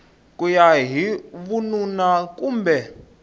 ku ya hi vununa kumbe